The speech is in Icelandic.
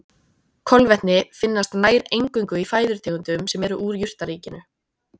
Kolvetni finnast nær eingöngu í fæðutegundum sem eru úr jurtaríkinu.